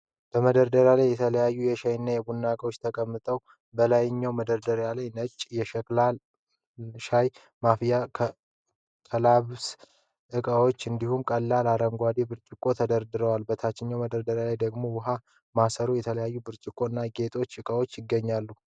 በመደርደሪያ ላይ የተለያዩ የሻይ እና የቡና እቃዎች ተቀምጠዋል። በላይኛው መደርደሪያ ላይ ነጭ የሸክላ ሻይ ማፍሰሻ (ከላብሳ) እና ጽዋዎች እንዲሁም ቀላል አረንጓዴ ብርጭቆዎች ተደርድረዋል። በታችኛው መደርደሪያ ላይ ደግሞ የውኃ ማሰሮዎች፣ የተለያዩ ብርጭቆዎች እና ያጌጡ ዕቃዎች ይገኛሉ።